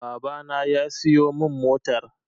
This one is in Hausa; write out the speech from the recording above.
Baba na ya siyo min motar